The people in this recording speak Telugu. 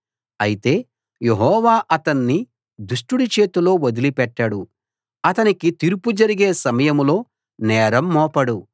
అయితే యెహోవా అతణ్ణి దుష్టుడి చేతిలో వదిలిపెట్టడు అతనికి తీర్పు జరిగే సమయంలో నేరం మోపడు